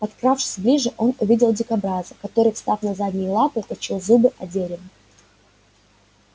подкравшись ближе он увидел дикобраза который встав на задние лапы точил зубы о дерево